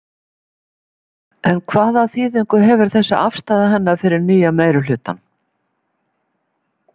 En hvaða þýðingu hefur þessi afstaða hennar fyrir nýja meirihlutann?